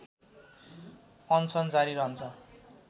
अनसन जारी रहन्छ